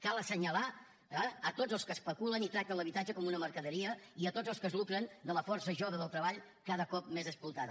cal assenyalar tots els que especulen i tracten l’habitatge com una mercaderia i tots els que es lucren de la força jove del treball cada cop més explotada